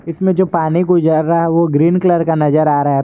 इसमें जो पानी गुजर रहा है वो ग्रीन कलर का नजर आ रहा--